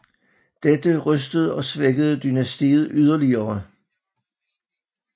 Dette rystede og svækkede dynastiet yderligere